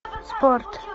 спорт